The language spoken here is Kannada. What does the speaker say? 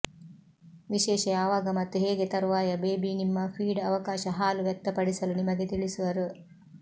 ವಿಶೇಷ ಯಾವಾಗ ಮತ್ತು ಹೇಗೆ ತರುವಾಯ ಬೇಬಿ ನಿಮ್ಮ ಫೀಡ್ ಅವಕಾಶ ಹಾಲು ವ್ಯಕ್ತಪಡಿಸಲು ನಿಮಗೆ ತಿಳಿಸುವರು